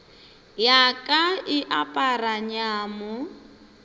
ya ka e apara nyamo